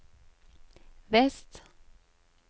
vest